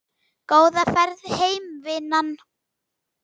Góða ferð heim vinan.